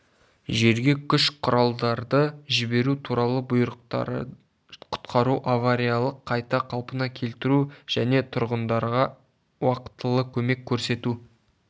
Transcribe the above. жерге күш-құралдарды жіберу туралы бұйрықтары құтқару авариялық қайта қалпына келтіру және тұрғындарға уақтылы көмек көрсету